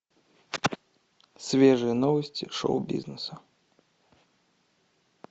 свежие новости шоу бизнеса